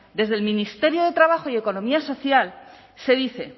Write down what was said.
desde el ministerio de trabajo y economía social se dice